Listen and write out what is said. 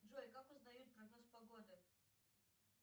джой как узнают прогноз погоды